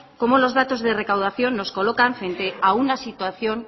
cómo los datos de recaudación nos colocan frente a una situación